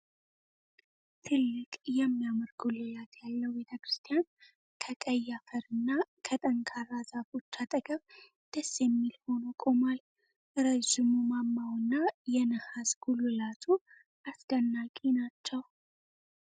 ትልቅ የሚያምር ጉልላት ያለው ቤተክርስቲያን ከቀይ አፈርና ከጠንካራ ዛፎች አጠገብ ደስ የሚል ሆኖ ቆሟል። ረጅሙ ማማውና የነሐስ ጉልላቱ አስደናቂ ናቸው።